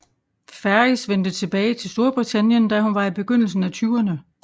Ferris vendte tilbage til Storbritannien da hun var i begyndelsen af tyverne